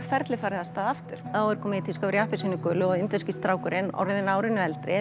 ferlið farið af stað aftur þá er komið í tísku að í appelsínugulu og indverski strákurinn orðinn árinu eldri